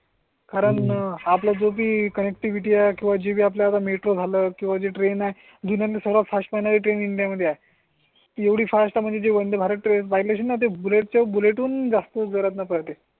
कारण आपला जो भी कनेक्टिविटी आहे किंवा जे आपल्या ला मिळालं किंवा ट्रेन आहे. दोन शे सोळा फासणारी ट्रेन इंडिया मध्ये. एवढी फास्ट म्हणजे वंदे भारत रेल्वे स्टेशन आहे. बुलेट बुलेट हून जास्त जणांना पडते.